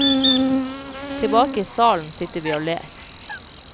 Tilbake i salen sitter vi og ler.